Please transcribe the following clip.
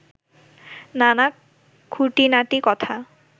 নানা খুঁটিনাটি কথা